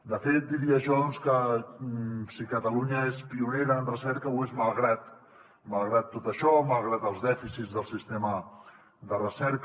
de fet diria jo que si catalunya és pionera en recerca ho és malgrat tot això malgrat els dèficits del sistema de recerca